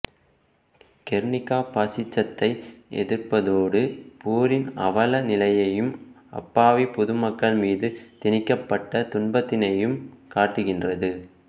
Guernica பாசிசத்தை எதிர்ப்பதோடு போரின் அவல நிலையையும் அப்பாவிப் பொதுமக்கள் மீது திணிக்கப்பட்ட துன்பத்தினையும் காட்டுகின்றது